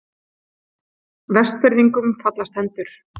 Vestfirðingum fallast hendur